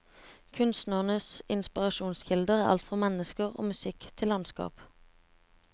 Kunstnerens inspirasjonskilder er alt fra mennesker og musikk til landskap.